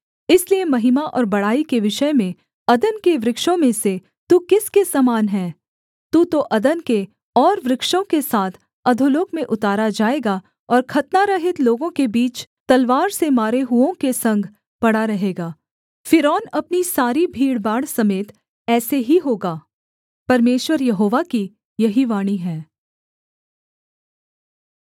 इसलिए महिमा और बड़ाई के विषय में अदन के वृक्षों में से तू किसके समान है तू तो अदन के और वृक्षों के साथ अधोलोक में उतारा जाएगा और खतनारहित लोगों के बीच तलवार से मारे हुओं के संग पड़ा रहेगा फ़िरौन अपनी सारी भीड़भाड़ समेत ऐसे ही होगा परमेश्वर यहोवा की यही वाणी है